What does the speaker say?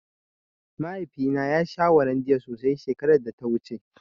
Mahaifina ya sha Hollondia sosai shekaraar da ta wuce.